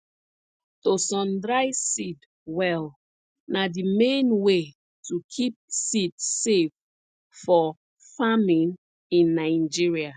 to sundry seed well na the main way to keep seed safe for farming in nigeria